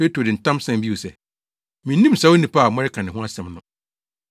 Petro de ntam san bio se, “Minnim saa onipa a moreka ne ho asɛm no.”